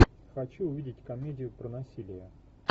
хочу увидеть комедию про насилие